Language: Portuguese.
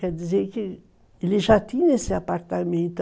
Quer dizer que ele já tinha esse apartamento.